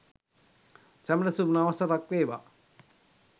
සැමට සුබ නව වසරක් වේවා.